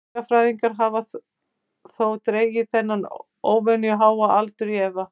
Fuglafræðingar hafa þó dregið þennan óvenju háa aldur í efa.